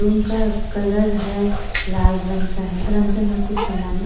room का colour है लाल रंग का है और अंदर में कुछ समाने--